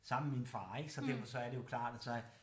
Sammen med min far ik så derfor så er det jo klart at så